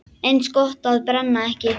Eins gott að brenna ekki!